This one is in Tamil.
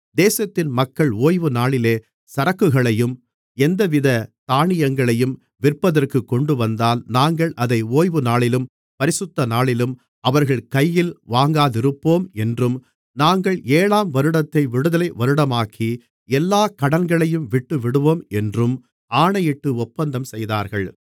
தேசத்தின் மக்கள் ஓய்வுநாளிலே சரக்குகளையும் எந்தவிதத் தானியங்களையும் விற்பதற்குக் கொண்டுவந்தால் நாங்கள் அதை ஓய்வுநாளிலும் பரிசுத்தநாளிலும் அவர்கள் கையில் வாங்காதிருப்போம் என்றும் நாங்கள் ஏழாம் வருடத்தை விடுதலை வருடமாக்கி எல்லா கடன்களையும் விட்டுவிடுவோம் என்றும் ஆணையிட்டு ஒப்பந்தம் செய்தார்கள்